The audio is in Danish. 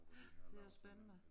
Ja det er også spændende